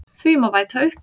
Því má bæta upp